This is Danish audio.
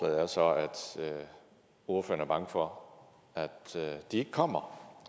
er så at ordføreren er bange for at de ikke kommer